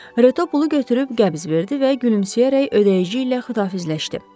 Reto pulu götürüb qəbz verdi və gülümsəyərək ödəyici ilə xüdahafizləşdi.